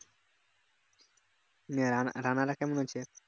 নিয়ে রানা রানারা কেমন আছে